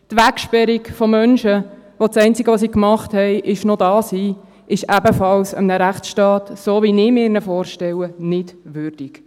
Die Wegsperrung von Menschen, deren einzige Tat darin besteht, noch hier zu sein, ist ebenfalls eines Rechtsstaats, so wie ich ihn mir vorstelle, nicht würdig.